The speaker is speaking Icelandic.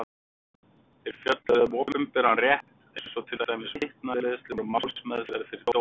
Þeir fjölluðu um opinberan rétt eins og til dæmis vitnaleiðslur og málsmeðferð fyrir dómi.